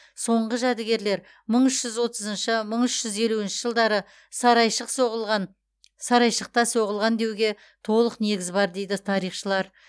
соңғы жәдігерлер мың үш жүз отызыншы мың үш жүз елуінші жылдары сарайшық соғылған сарайшықта соғылған деуге толық негіз бар дейді тарихшылар